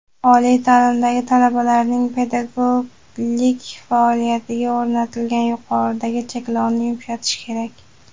oliy taʼlimdagi talabalarning pedagoglik faoliyatiga o‘rnatilgan yuqoridagi cheklovni yumshatish kerak.